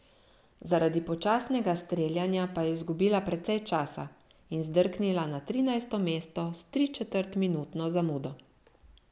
Zaradi počasnega streljanja pa je izgubila precej časa in zdrknila na trinajsto mesto s tričetrtminutno zamudo.